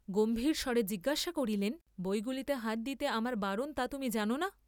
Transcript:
গম্ভীরম্বরে জিজ্ঞাসা করিলেন বইগুলিতে হাত দিতে আমার বারণ তা কি তুমি জান না?